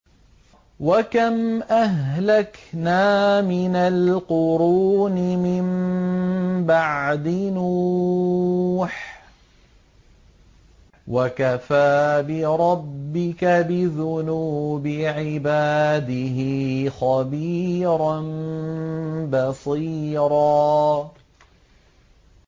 وَكَمْ أَهْلَكْنَا مِنَ الْقُرُونِ مِن بَعْدِ نُوحٍ ۗ وَكَفَىٰ بِرَبِّكَ بِذُنُوبِ عِبَادِهِ خَبِيرًا بَصِيرًا